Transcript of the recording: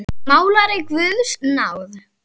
Málari af guðs náð.